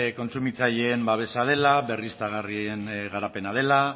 kontsumitzaileen babesa dela berriztagarrien garapena dela